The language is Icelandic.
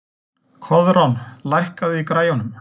Koðrán, lækkaðu í græjunum.